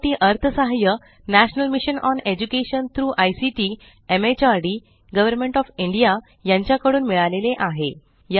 यासाठी अर्थसहाय्य national mission on education through ICT MHRD government of India कडून मिळालेले आहे